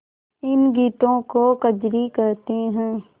इन गीतों को कजरी कहते हैं